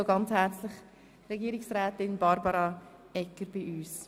Ich begrüsse herzlich Regierungsrätin Barbara Egger bei uns.